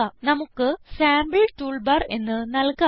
നമുക്ക് sample toolbar എന്ന് നല്കാം